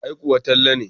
Ai kuwa Talle ne.